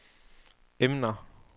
emner